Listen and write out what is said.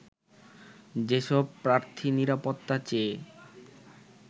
যেসব প্রার্থী নিরাপত্তা চেয়ে